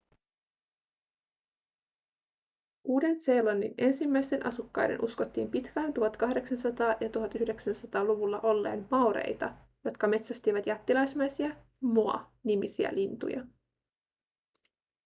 uuden-seelannin ensimmäisten asukkaiden uskottiin pitkään 1800- ja 1900-luvulla olleen maoreita jotka metsästivät jättiläismäisiä moa-nimisiä lintuja